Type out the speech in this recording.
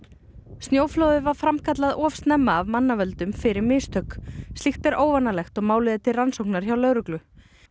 snjóflóðið var framkallað of snemma af mannavöldum fyrir mistök slíkt er óvanalegt og málið er til rannsóknar hjá lögreglu